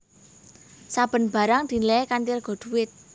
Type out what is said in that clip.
Saben barang dinilai kanthi rega dhuwit